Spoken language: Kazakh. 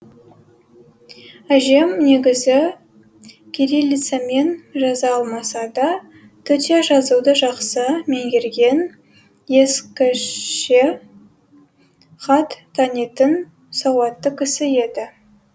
әжем негізі кириллицамен жаза алмаса да төте жазуды жақсы меңгерген ескіше хат танитын сауатты кісі еді